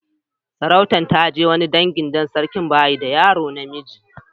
Sarautan ya je wani dangi dan sarkin ba yi da yaro na miji.